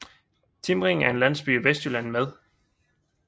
Timring er en landsby i Vestjylland med